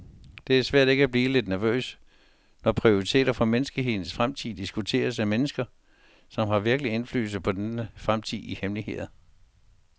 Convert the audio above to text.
Det er svært ikke at blive lidt nervøs, når prioriteter for menneskehedens fremtid diskuteres af mennesker, som har virkelig indflydelse på denne fremtid i hemmelighed.